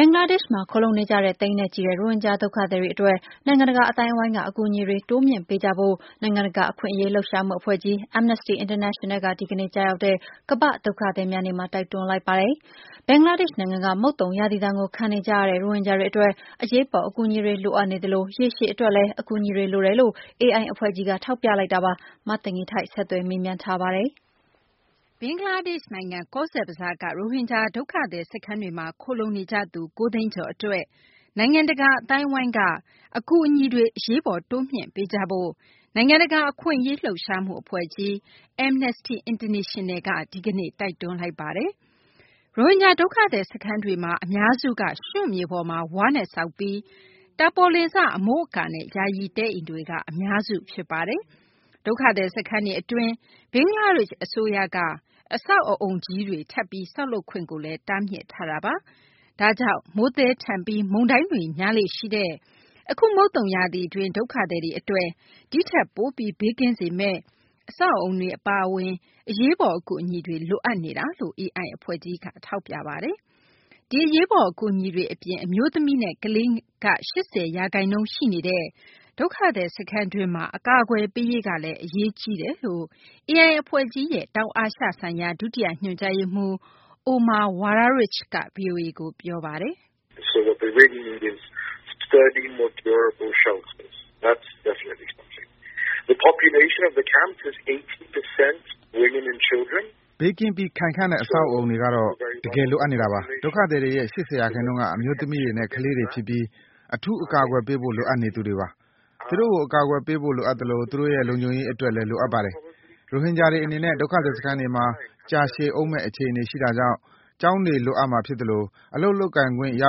ဘင်္ဂလားဒေရှ့်မှာ ခိုလှုံနေကြတဲ့ သိန်းနဲ့ချီတဲ့ ရိုဟင်ဂျာ ဒုက္ခသည်တွေ အတွက် နိုင်ငံတကာ အသိုင်းအဝိုင်းက အကူအညီတွေ တိုးမြှင့်ပေးကြဖို့ နိုင်ငံတကာ အခွင့်အရေးလှုပ်ရှားမှု အဖွဲ့ကြီး Amnesty International က ဒီကနေ့ ကျရောက်တဲ့ ကမ္ဘာ့ဒုက္ခသည်များနေ့မှာ တိုက်တွန်းလိုက်ပါတယ်။ ဘင်္ဂလားဒေရှ့်နိုင်ငံက မုတ်သုံရာသီဒဏ်ကို ခံနေကြရတဲ့ ရိုဟင်ဂျာတွေ အတွက် အရေးပေါ် အကူအညီတွေ လိုအပ်နေသလို ရေရှည် အတွက်လည်း အကူအညီတွေ လိုတယ်လို့ AI အဖွဲ့ကြီးက ထောက်ပြလိုက်တာပါ။ မသိင်္ဂ ီထိုက် ဆက်သွယ်မေးမြန်းထားပါတယ်။ ဘင်္ဂလားဒေရှ့် နိုင်ငံ ကောဇ်ဘဇားက ရိုဟင်ဂျာ ဒုက္ခသည် စခန်းတွေမှာ ခိုလှုံနေကြသူ ၉ သိန်းကျော် အတွက် နိုင်ငံတကာ အသိုင်းအဝိုင်းက အကူအညီတွေ အရေးပေါ် တိုးမြှင့်ပေးကြဖို့ နိုင်ငံတကာ အခွင့်အရေး လှုပ်ရှားမှု အဖွဲ့ကြီး Amnesty International က ဒီကနေ့ တိုက်တွန်းလိုက်ပါတယ်။ ရိုဟင်ဂျာ ဒုက္ခသည် စခန်းတွေမှာ အများစုက ရွံ့မြေပေါ်မှာ ဝါးနဲ့ဆောက်ပြီး တာပေါ်လင်စ အမိုးအကာနဲ့ ယာယီတဲအိမ်တွေက အများစု ဖြစ်ပါတယ်။ ဒုက္ခသည် စခန်းတွေ အတွင်းမှာ ဘင်္ဂလားဒေရှ့် အစိုးရက အဆောက်အအုံကြီးတွေ ထပ်ပြီး ဆောက်လုပ်ခွင့်လည်း တားမြစ်ထားတာပါ။ ဒါကြောင့် မိုးသည်းထန်ပြီး မုန်တိုင်းတွေ များလေ့ရှိတဲ့ အခု မုတ်သုံရာသီတွင်း ဒုက္ခသည်တွေ အတွက် ဒီထက်ပိုပြီး ဘေးကင်းစေမယ့် အဆောက်အအုံတွေ အပါအဝင် အရေးပေါ် အကူအညီတွေ လိုအပ်နေတာလို့ AI အဖွဲ့ကြီးက ထောက်ပြထားတာပါ။ ဒီအရေးပေါ် အကူအညီတွေ အပြင် အမျိုးသမီးနဲ့ ကလေးက ၈၀ ရာခိုင်နှုန်း ရှိနေတဲ့ ဒုက္ခသည် စခန်းတွင်းမှာ အကာအကွယ်ပေးရေးလည်း အရေးတကြီးလိုအပ်တယ်လို့ AI အဖွဲ့ကြီးရဲ့ တောင်အာရှဆိုင်ရာ ဒုတိယ ညွှန်ကြားရေးမှူး Omar Waraich က ဗွီအိုအေကို ပြောပါတယ်။ “ ဘေးကင်းပြီး ခိုင်ခံ့တဲ့ အဆောက်အအုံတွေကတော့ တကယ်လိုအပ်နေတာပါ။ ဒုက္ခသည်တွေရဲ့ ၈၀ ရာခိုင်နှုန်းက အမျိုးသမီးတွေနဲ့ ကလေးတွေ ဖြစ်ပြီး အထူး အကာအကွယ်ပေးဖို့လိုအပ်နေသူတွေပါ။ သူတို့ကို အကာအကွယ်ပေးဖို့ လိုအပ်သလို သူတို့ရဲ့ လုံခြုံရေး အတွက်လည်း လိုအပ်ပါတယ်။ ရိုဟင်ဂျာတွေ အနေနဲ့ ဒုက္ခသည် စခန်းတွေမှာ ကြာရှည်ဦးမယ့် အခြေအနေ ရှိတာကြောင့် ကျောင်းတွေ လိုအပ်မှာ ဖြစ်သလို အလုပ် လုပ်ကိုင်ခွင့်ရ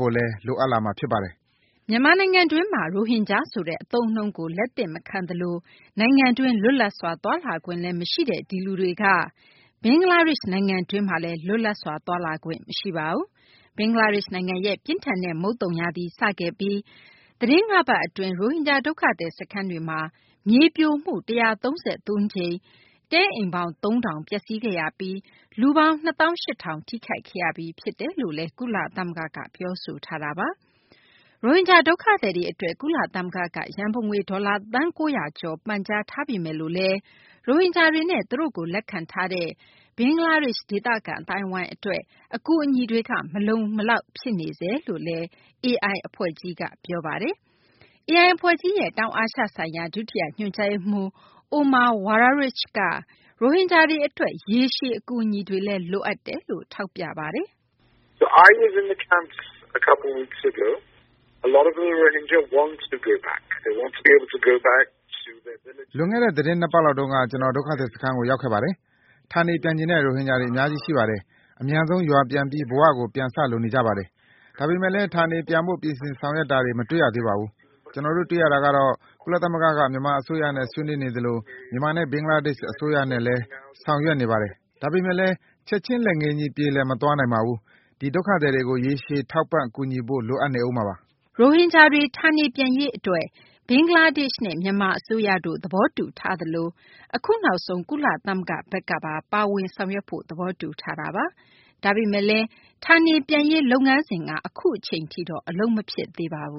ဖို့လည်း လိုအပ်လာမှာ ဖြစ်ပါတယ်။ ” မြန်မာနိုင်ငံတွင်းမှာ ရိုဟင်ဂျာ ဆိုတဲ့ အသုံးအနှုန်းကို လက်မခံသလို နိုင်ငံတွင်း လွတ်လပ်စွာ သွားလာခွင့်လည်း မရှိတဲ့ ဒီလူတွေက ဘင်္ဂလားဒေရှ့်နိုင်ငံတွင်းမှာလည်း လွတ်လပ်စွာ သွားလာခွင့်မရှိပါဘူး။ ဘင်္ဂလားဒေရှ့်နိုင်ငံရဲ့ ပြင်းထန်တဲ့ မုတ်သုံရာသီ စခဲ့ပြီး သတင်း ၅ ပတ် အတွင်း ရိုဟင်ဂျာ ဒုက္ခသည် စခန်းတွေမှာ မြေပြိုမှု ၁၃၃ ကြိမ်အတွင်း တဲအိမ်ပေါင်း ၃ ထောင် ပျက်စီးခဲ့ရပြီး လူပေါင်း ၂ သောင်း ၈ ထောင် ထိခိုက်ခဲ့ရပြီး ဖြစ်ကြောင်း ကုလသမဂ္ဂက ပြောဆိုထားတာပါ။ ရိုဟင်ဂျာ ဒုက္ခသည်တွေ အတွက် ကုလသမဂ္ဂက ရန်ပုံငွေ ဒေါ်လာ သန်း ၉၀၀ ကျော် ပန်ကြားထားပေမယ်လို့လည်း ရိုဟင်ဂျာတွေနဲ့ သူတို့ကို လက်ခံထားတဲ့ ဘင်္ဂလားဒေရှ့် ဒေသခံ အသိုင်းအဝိုင်း အတွက် အကူအညီတွေက မလုံမလောက် ဖြစ်နေဆဲလို့လည်း AI အဖွဲ့ကြီးက ပြောဆိုပါတယ်။ AI အဖွဲ့ကြီးရဲ့ တောင်အာရှဆိုင်ရာ ဒုတိယ ညွှန်ကြားရေးမှူး Omar Waraich က ရိုဟင်ဂျာတွေ အတွက် ရေရှည်မှာပါ အကူအညီတွေ လိုအပ်နေတယ်လို့လည်း ထောက်ပြပါတယ်။ “ လွန်ခဲ့တဲ့ သတင်း ၂ ပတ်လောက်တုန်းက ကျနော် ဒုက္ခသည် စခန်းကို ရောက်ခဲ့ပါတယ်။ ဌာနေပြန်ချင်တဲ့ ရိုဟင်ဂျာတွေ အများကြီး ရှိပါတယ်။ အမြန်ဆုံး ရွာပြန်ပြီး ဘဝကို ပြန်စလိုနေကြပါတယ်။ ဒါပေမယ့်လည်း ဌာနေပြန်ဖို့ ပြင်ဆင်ဆောင်ရွက်တောတွေ မတွေ့ရသေးပါဘူး။ ကျနော်တို့ တွေ့ရတာကတော့ ကုလသမဂ္ဂက မြန်မာအစိုးရနဲ့ ဆွေးနွေးနေသလို မြန်မာနဲ့ ဘင်္ဂလားဒေရှ့် အစိုးရနဲ့လည်း ဆောင်ရွက်နေပါတယ်။ဒါပေမယ့်လည်း ချက်ချင်းလက်ငင်းကြီး ပြေလည်သွားမသွားနိုင်ပါဘူး။ ဒီဒုက္ခသည်တွေကို ရေရှည် ထောက်ပံ့ ကူညီဖို့ လိုအပ်နေဦးမှာပါ။” ရိုဟင်ဂျာတွေ ဌာနေပြန်ရေး အတွက် ဘင်္ဂလားဒေရှ့်နဲ့ မြန်မာ အစိုးရတို့ သဘောတူထားသလို အခုနောက်ဆုံး ကုလသမဂ္ဂဘက်ကပါ ပါဝင်ဆောင်ရွက်ဖို့ သဘောတူထားတာပါ။ ဒါပေမယ့်လည်း ရိုဟင်ဂျာတွေ ဌာနေပြန်ရေးကတော့ အခုအချိန်ထိတော့ အလုပ်မဖြစ်သေးပါဘူး